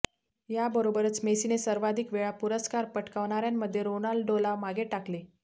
या बरोबरच मेसीने सर्वाधिक वेळा हा पुरस्कार पटकावणाऱ्यांमध्ये रोनाल्डोला मागे टाकले